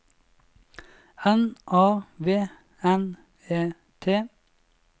N A V N E T